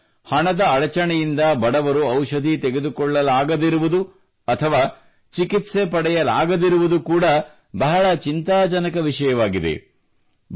ಈಗ ಹಣದ ಅಡಚಣೆಯಿಂದ ಬಡವರು ಔಷಧಿ ತೆಗೆದುಕೊಳ್ಳಲಾಗದಿರುವುದು ಅಥವಾ ಚಿಕಿತ್ಸೆ ಪಡೆಯಲಾಗದಿರುವುದು ಕೂಡಾ ಬಹಳ ಚಿಂತಾಜನಕ ವಿಷಯವಾಗಿದೆ